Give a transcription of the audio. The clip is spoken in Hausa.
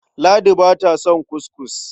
Ladi ba ta son kuskus.